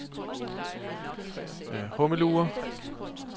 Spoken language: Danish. Hummelure